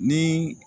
Ni